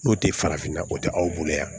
N'o tɛ farafinna o tɛ aw bolo yan